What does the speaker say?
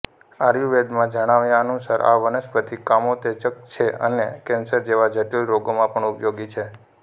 આયુર્વેદમાં જણાવ્યા અનુસાર આ વનસ્પતિ કામોતેજક છે અને કેન્સર જેવા જટીલ રોગોમાં પણ ઉપયોગી છે